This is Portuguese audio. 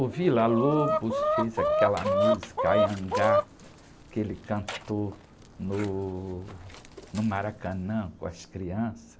O Villa-Lobos fez aquela música, Anhangá, que ele cantou no, no Maracanã com as crianças.